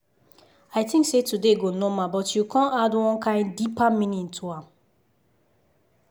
i think say today go normal but you con add one kain deeper meaning to am.